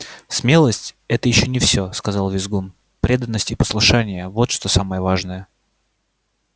смелость это ещё не всё сказал визгун преданность и послушание вот что самое важное